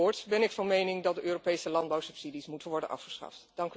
Voorts ben ik van mening dat de Europese landbouwsubsidies moeten worden afgeschaft.